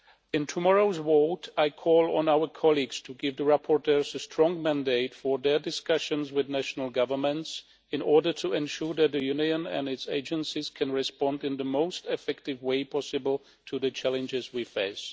In tomorrow's vote I call on our colleagues to give the rapporteurs a strong mandate for their discussions with national governments in order to ensure that the Union and its agencies can respond in the most effective way possible to the challenges we face.